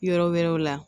Yɔrɔ wɛrɛw la